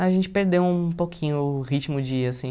A gente perdeu um pouquinho o ritmo de ir, assim.